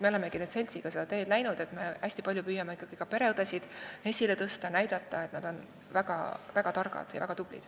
Me olemegi nüüd seltsiga seda teed läinud, et me püüame hästi palju ka pereõdesid esile tõsta ning näidata, et nad on väga targad ja tublid.